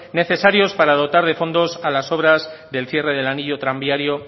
necesarios para dotar de fondos a las obras del cierre del anillo tranviario